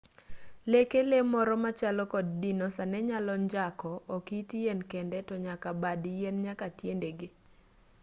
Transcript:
leke lee moro machalo kod dinosa nenyalo njako ok it yien kende tonyaka bad yien nyaka tiendege